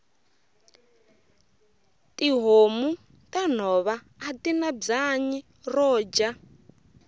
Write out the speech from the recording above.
tihhomu tanhova atina bwanyi roja